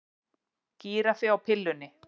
Gíraffi á pillunni